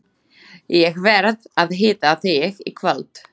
Ég verð að hitta þig í kvöld.